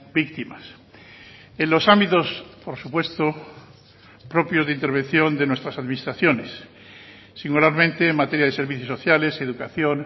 víctimas en los ámbitos por supuesto propios de intervención de nuestras administraciones singularmente en materia de servicios sociales educación